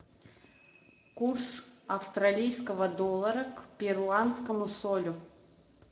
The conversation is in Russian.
курс австралийского доллара к перуанскому солю